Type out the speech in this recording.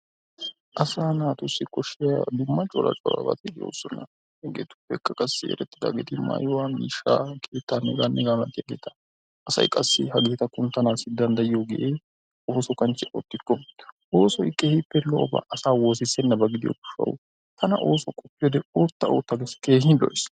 Assa natussi koshiya dumma dumma corabati de'osonna hegetuppekka qasi eretidagetti mayuwa, mishaa, kettanne heganne hega malatiyabatta assay qassi hegetta kunttanassi dandayiyoge osso kanchiyaa ottikko, ossoy kehippe lo'oba asaa wosisenaba gidiyo gishawu tana osuwa qopiyode otta otta geesi kehi lo'eea.